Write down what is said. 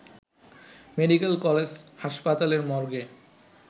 medical college হাসপাতালের মর্গে